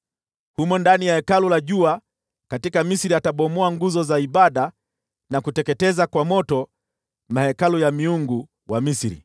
Humo ndani ya hekalu la jua nchini ya Misri atabomoa nguzo za ibada, na kuteketeza kwa moto mahekalu ya miungu wa Misri.’ ”